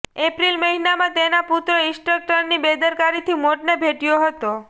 એપ્રીલ મહિનામાં તેના પુત્ર ઈન્સ્ટ્રક્ટરની બેદરકારીથી મોતને ભેટ્યો હતો